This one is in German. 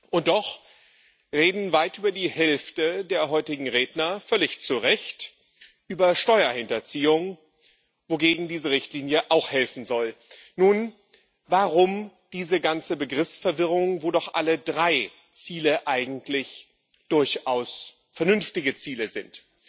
Und doch redet weit über die Hälfte der heutigen Redner völlig zu Recht über Steuerhinterziehung, wogegen diese Richtlinie auch helfen soll. Nun, warum diese ganze Begriffsverwirrung, wo doch alle drei Ziele eigentlich durchaus vernünftige Ziele sind?